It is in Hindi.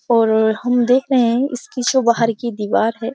और हम देख रहे हैं इसकी जो बाहर की दीवार है।